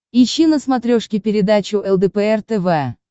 ищи на смотрешке передачу лдпр тв